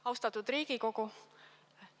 Austatud Riigikogu!